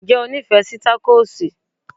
Ǹjẹ́ o nífẹ̀ẹ́ sí takosì?